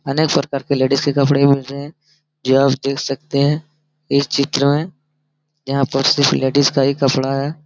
अनेक प्रकार के लेडिस के कपड़े होते है जो आप देख सकते है इस चित्र में यहाँ पर सिर्फ लेडीस का ही कपड़ा है ।